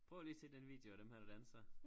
Prøv lige at se den video af dem her der danser